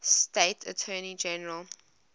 state attorney general